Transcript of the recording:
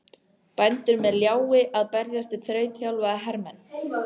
Bændur með ljái að berjast við þrautþjálfaða hermenn!